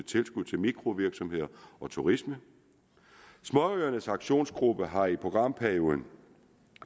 tilskud til mikrovirksomheder og turisme småøernes aktionsgruppe har i programperioden